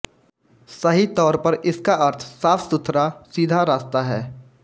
सही तौर पर इसका अर्थ साफ़सुथरा सीधा रास्ता है